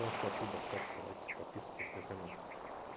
все спасибо ставьте лайки подписывайтесь на канал